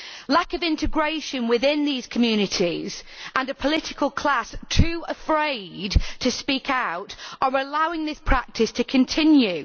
Lack of integration within these communities and a political class too afraid to speak out are allowing this practice to continue.